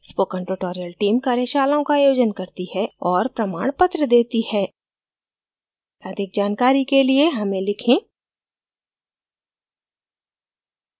spoken tutorial team कार्यशालाओं का आयोजन करती है और प्रमाणपत्र देती है अधिक जानकारी के लिए हमें लिखें